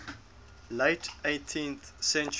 late eighteenth century